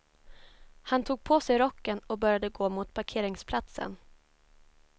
Han tog på sig rocken och började gå mot parkeringsplatsen.